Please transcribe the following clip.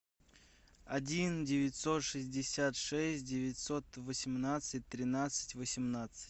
один девятьсот шестьдесят шесть девятьсот восемнадцать тринадцать восемнадцать